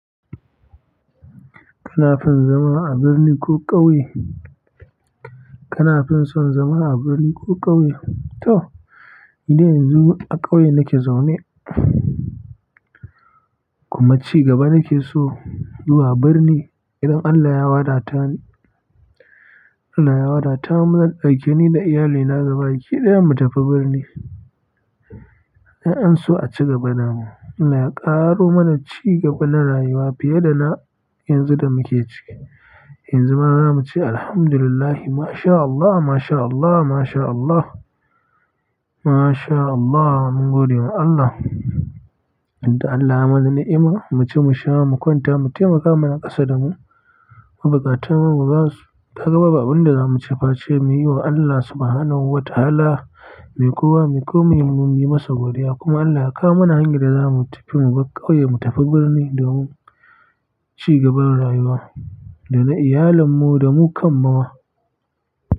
Kana fin son zama a birni ko ƙauye? Kana fin son zama a birni ko ƙauye? To, idan yanzu a ƙauye nake zaune kuma ci gaba nake so zuwa birni idan Allah ya waɗa tani, Allah ya waɗa ta mu zan ɗauke ni da iyalina gabaɗaya mu tafi birni. In an so aciga damu Allah ya ƙaro mana ci gaba na rayuwa fiye da na yanzu da muke ciki. Yanzu ma zamu ce alhamdulillah, mashallah, mashallah, mashallah, mashallah. Mun gode wa Allah. Inda Allah ya mana ni'ima muce mu sha mu kwanta mu taimaka mana ƙasar mu. Bukatun mu bazamu, ta gaba ba abin da zamu ce ba ce mu yi wa Allah Subhanahu wa ta'ala mai kowa, mai ko mu mu yi masa godiya. Kuma Allah ya kawoma mana hanyar da zamu tafi mu bar ƙauye mu tafi birni domin ci gaban rayuwa da na iyalen mu da mu kammawa.